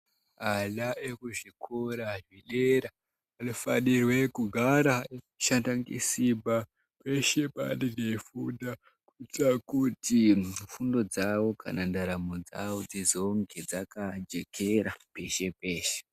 Ana ekuzvikora zvedera, anofanirwe kunga ari anoshanda ngesimba, peshe paanenge eifunda, kuitira kuti fundo dzawo, kana ndaramo dzawo dzizonge dzakajekera peshe-peshe.